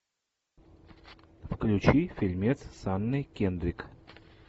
включи фильмец с анной кендрик